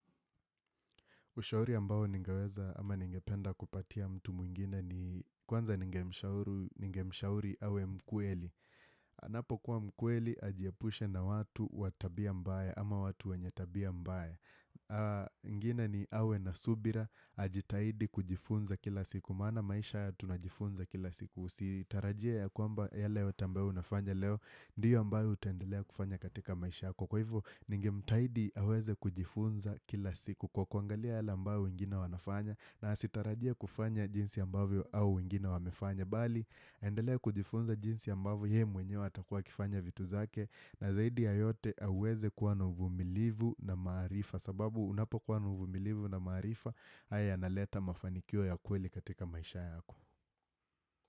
Ushauri ambao ningeweza ama ningependa kupatia mtu mwingine ni kwanza ningemshauru ningemshauri awe mkweli. Anapokua mkweli, ajiepushe na watu wa tabia mbaya ama watu wenye tabia mbaya ingine ni awe na subira, ajitahidi kujifunza kila siku. Maana maisha haya tunajifunza kila siku. Usitarajie ya kwamba yale yote ambao unafanya leo, ndiyo ambayo utaendelea kufanya katika maisha yako. Kwa hivyo, ningemtaidi aweze kujifunza kila siku. Kwa kuangalia yale ambayo wengine wanafanya na asitarajie kufanya jinsi ambavyo hao wengine wamefanya bali, endelea kujifunza jinsi ambayo ye mwenyewe atakua akifanya vitu zake na zaidi ya yote aweze kuwa na uvumilivu na maarifa sababu unapokuwa na uvumilivu na maarifa haya yanaleta mafanikio ya kweli katika maisha yako.